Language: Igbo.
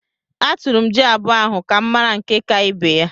Atụrụ m jị abụọ ahụ ka m mara nke ka ibe ya.